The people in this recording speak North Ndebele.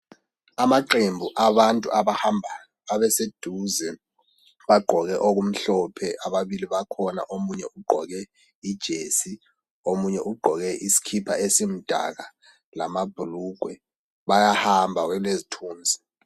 Amaqembu abantu abahambayo abaseduze bagqoke okumhlophe ababili bakhona omunye ugqoke ijesi, omunye ugqoke isikipa esimdaka lamabhulugwe. Bayamba kwelezithunzi.